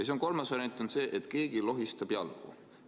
Ja kolmas variant on see, et keegi lohistab jalgu.